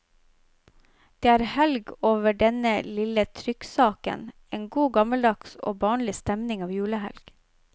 Det er helg over denne lille trykksaken, en god gammeldags og barnlig stemning av julehelg.